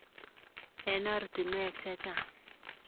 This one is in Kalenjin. Eng ortinwek che chang.